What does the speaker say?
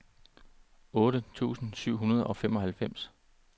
otte tusind syv hundrede og femoghalvfems